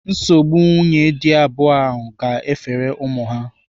Nsogbu nwunye dị abụọ ahụ ga-efere ụmụ ha.